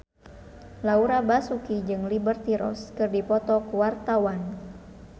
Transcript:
Laura Basuki jeung Liberty Ross keur dipoto ku wartawan